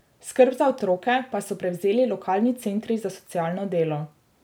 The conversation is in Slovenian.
Skrb za otroke pa so prevzeli lokalni centri za socialno delo.